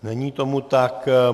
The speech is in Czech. Není tomu tak.